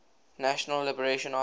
national liberation army